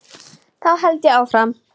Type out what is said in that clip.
Þá held ég áfram.